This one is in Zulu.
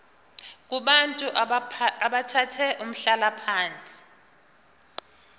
kubantu abathathe umhlalaphansi